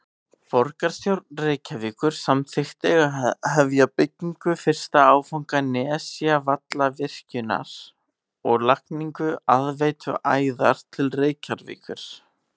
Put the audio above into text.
Borgarstjórn Reykjavíkur samþykkti að hefja byggingu fyrsta áfanga Nesjavallavirkjunar og lagningu aðveituæðar til Reykjavíkur.